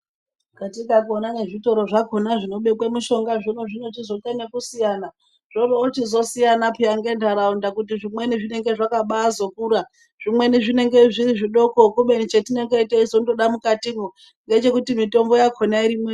Katika kuonana nezvitorozvakona zvino zvinobekwe mishonga zvino zvinochizoite nekusiyana zvoroochizosiyana payana ngentaraunda kuti zvimweni zvinenge zvakabazokura zvimweni zvinenge zviri zvidoko kubeni chetinenge teizondoda mukatimwo ngechekuti mitombo yakhona irimwo.